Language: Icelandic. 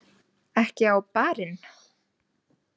Ekki á Bar- inn?